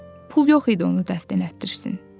Pul yox idi onu dəfn elətdirsin.